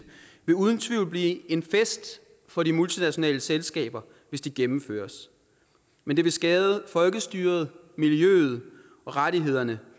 vil uden tvivl blive en fest for de multinationale selskaber hvis de gennemføres men det vil skade folkestyret miljøet og rettighederne